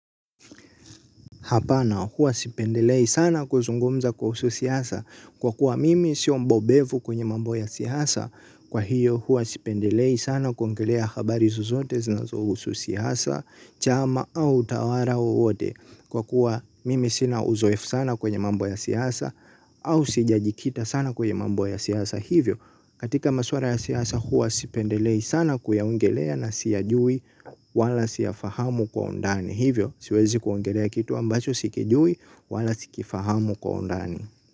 Hapana huwa sipendelei sana kuzungumza kuhusu siasa kwa kuwa mimi sio mbobevu kwenye mambo ya siasa kwa hiyo huwa sipendelei sana kuongelea habari zozote zinazohusu siasa chama au utawara wowote kwa kuwa mimi sina uzoefu sana kwenye mambo ya siasa au sijajikita sana kwenye mambo ya siasa hivyo. Katika maswara ya siasa huwa sipendelei sana kuyaongelea na siyajui wala siyafahamu kwa undani. Hivyo siwezi kuongelea kitu ambacho sikijui wala sikifahamu kwa undani.